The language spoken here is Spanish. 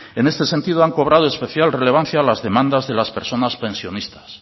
en este sentido han cobrado especial relevancia las demandas de las personas pensionistas